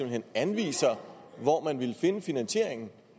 hen anviser hvor man vil finde finansieringen